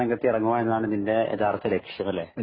പ്രബോധന രംഗത്ത് ഇറങ്ങുക എന്നതാണ് ഇതിന്റെ യഥാർത്ഥ ലക്ഷ്യം അല്ലെ